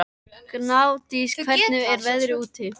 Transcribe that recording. Gnádís, hvernig er veðrið úti?